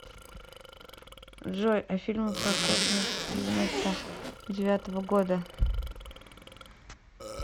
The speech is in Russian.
джой а фильмы про космос девяносто девятого года